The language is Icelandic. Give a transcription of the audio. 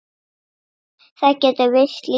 Það getur virst lítið.